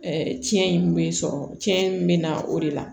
cɛn in bɛ sɔrɔ cɛn bɛ na o de la